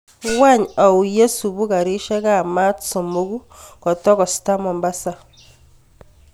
Wany au yesubu karishek ab maat somoku kotogosta mombasa